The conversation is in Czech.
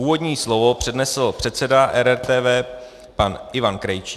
Úvodní slovo přednesl předseda RRTV pan Ivan Krejčí.